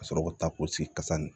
Ka sɔrɔ ka taa ko sigi kasa nan